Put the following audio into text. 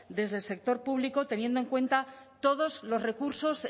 desde el sector público teniendo en cuenta todos los recursos